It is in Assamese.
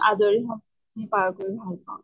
আজৰি সময় খিনি পাৰ কৰি ভাল পাওঁ।